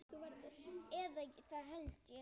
Eða það held ég.